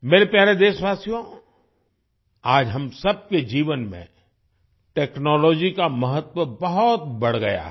मेरे प्यारे देशवासियो आज हम सबके जीवन में टेक्नोलॉजी का महत्त्व बहुत बढ़ गया है